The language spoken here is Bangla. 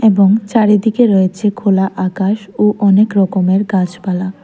এবং চারিদিকে রয়েছে খোলা আকাশ ও অনেক রকমের গাছপালা।